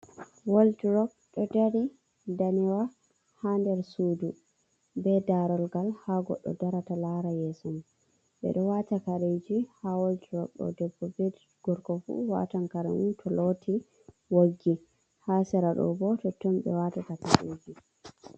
Wol drop ɗo dari ndanewa ha nder sudu, be darugal, ha goddo darata lara yeson mun. Ɓe do wata kareji ha wol drop ɗo. Debbo be gorko fu ɗo watan karemun to loti woggi. Ha seraɗo bo totton be watata kareji.